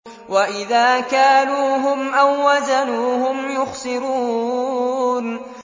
وَإِذَا كَالُوهُمْ أَو وَّزَنُوهُمْ يُخْسِرُونَ